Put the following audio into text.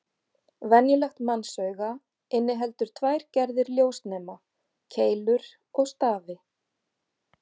Venjulegt mannsauga inniheldur tvær gerðir ljósnema: Keilur og stafi.